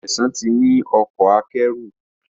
Sesan tí ní Ọkọ̀ akẹ́rù.